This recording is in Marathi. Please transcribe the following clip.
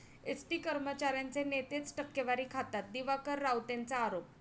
एसटी कर्मचाऱ्यांचे नेतेच टक्केवारी खातात, दिवाकर रावतेंचा आरोप